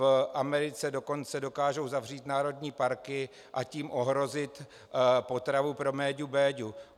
V Americe dokonce dokážou zavřít národní parky, a tím ohrozit potravu pro méďu Béďu.